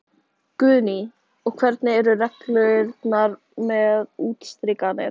Guðný: Og hvernig eru reglurnar með útstrikanir?